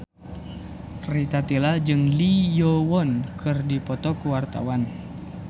Rita Tila jeung Lee Yo Won keur dipoto ku wartawan